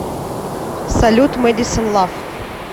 салют мэдисон лав